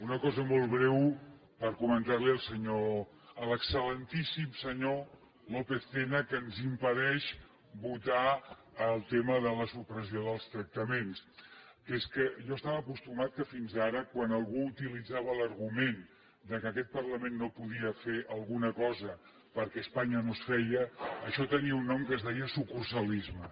una cosa molt breu per comentar la hi al senyor a l’excel·lentíssim senyor lópez tena que ens impedeix votar el tema de la supressió dels tractaments que és que jo estava acostumat que fins ara quan algú utilitzava l’argument que aquest parlament no podia fer alguna cosa perquè a espanya no es feia això tenia un nom que es deia sucursalisme